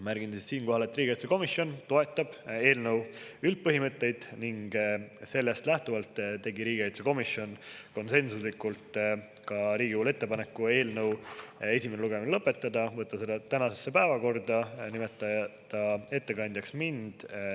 Märgin siinkohal, et riigikaitsekomisjon toetab eelnõu üldpõhimõtteid ning sellest lähtuvalt tegi riigikaitsekomisjon konsensuslikult Riigikogule ettepaneku eelnõu esimene lugemine lõpetada, võtta see tänasesse päevakorda ja nimetada ettekandjaks mind.